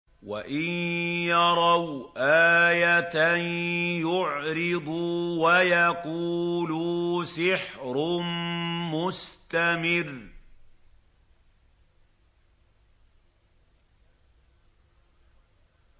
وَإِن يَرَوْا آيَةً يُعْرِضُوا وَيَقُولُوا سِحْرٌ مُّسْتَمِرٌّ